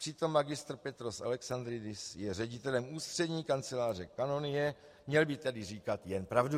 Přitom Mgr. Petros Alexandridis je ředitelem ústřední kanceláře kanonie, měl by tedy říkat jen pravdu.